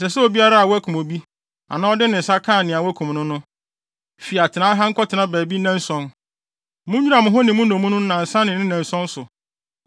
“Ɛsɛ sɛ obiara a wakum obi, anaa ɔde ne nsa kaa nea wɔakum no no, fi atenae ha nkɔtena baabi nnanson. Munnwira mo ho ne mo nnommum no nnansa ne ne nnanson so.